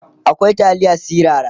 akwai taliya sirara